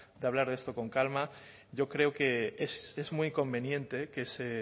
de hablar de esto con calma yo creo que es muy conveniente que se